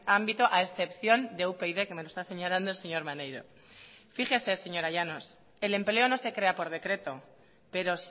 ámbito a excepción de upyd que me lo está señalando el señor maneiro fíjese señora llanos el empleo no se crea por decreto pero